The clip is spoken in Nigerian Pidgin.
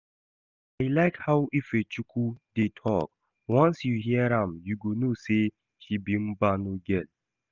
I like how Ifechukwu dey talk, once you hear am you go know say she be Mbano girl